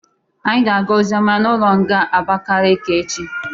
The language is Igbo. Anyị ga-aga ozioma n'ụlọ nga Abakekeke echi.